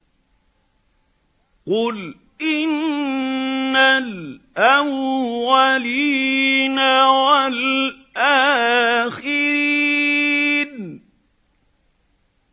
قُلْ إِنَّ الْأَوَّلِينَ وَالْآخِرِينَ